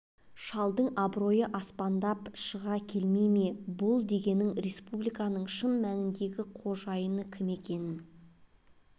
шалдың абыройы аспандап шыға келмей ме бұл дегенің республиканың шын мәніндегі қожайыны кім екенін